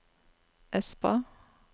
Espa